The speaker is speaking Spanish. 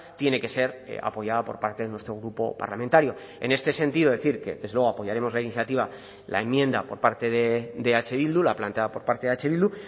tiene que ser apoyada por parte de nuestro grupo parlamentario en este sentido decir que desde luego apoyaremos la iniciativa la enmienda por parte de eh bildu la planteada por parte de eh bildu